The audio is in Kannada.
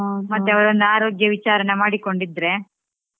ಮತ್ತೇ ಅವರ ಒಂದು ಆರೋಗ್ಯ ವಿಚಾರಣೆ ಮಾಡಿಕೊಂಡಿದ್ರೆ.